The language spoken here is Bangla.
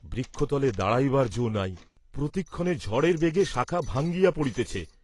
বৃক্ষতলে দাঁড়াইবার যো নাই, প্রতিক্ষণে ঝড়ের বেগে শাখা ভাঙ্গিয়া পড়িতেছে!